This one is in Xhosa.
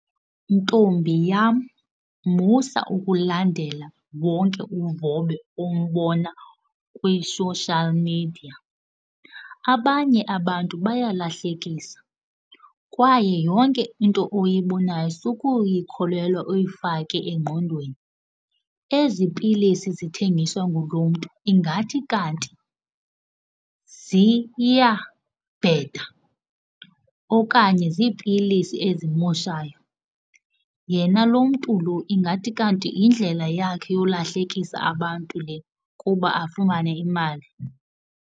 Ntombi yam, musa ukulandela wonke uvobe ombona kwi-social media. Abanye abantu bayalahlekisa kwaye yonke into oyibonayo sukuyikholelwa uyifake engqondweni. Ezi pilisi zithengiswa ngulo mntu ingathi kanti ziyabheda okanye ziipilisi ezimoshayo yena. Lo mntu lo ingathi kanti yindlela yakhe yolahlekisa abantu le kuba afumane imali.